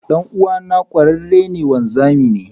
Dan'uwana kwararre wanzami ne.